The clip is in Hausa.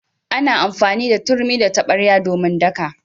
Ana amfani da turmi da tabarya domin daka.